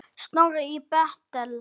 Snorri í Betel.